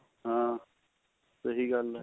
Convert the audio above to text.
ਹਾਂ ਸਹੀ ਗੱਲ ਹੈ